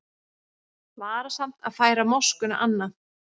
Varasamt að færa moskuna annað